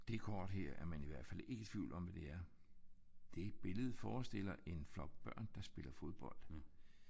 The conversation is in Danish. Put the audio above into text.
Det kort her er man i hvert fald ikke i tvivl om hvad det er. Det billede forestiller en flok børn der spiller fodbold